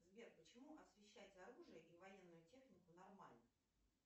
сбер почему освещать оружие и военную технику нормально